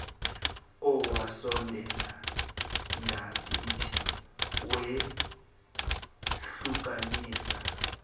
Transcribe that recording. owasondela ngakithi wehlukanisa